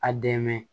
A dɛmɛ